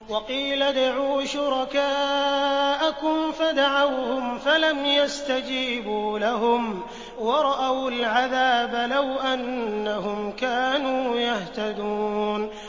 وَقِيلَ ادْعُوا شُرَكَاءَكُمْ فَدَعَوْهُمْ فَلَمْ يَسْتَجِيبُوا لَهُمْ وَرَأَوُا الْعَذَابَ ۚ لَوْ أَنَّهُمْ كَانُوا يَهْتَدُونَ